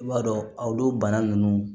I b'a dɔn olu bana ninnu